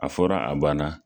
A fɔra a banna